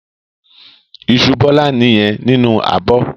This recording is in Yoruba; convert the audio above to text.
Iṣu Bọ́lá nìyẹn nínú abọ́.